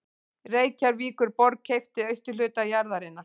Reykjavíkurborg keypti austurhluta jarðarinnar